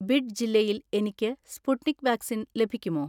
Bid ജില്ലയിൽ എനിക്ക് Sputnik vaccine ലഭിക്കുമോ?